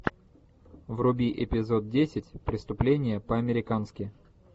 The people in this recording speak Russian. вруби эпизод десять преступление по американски